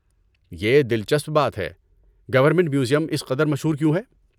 یہ دلچسپ بات ہے۔ گورنمنٹ میوزیم اس قدر مشہور کیوں ہے؟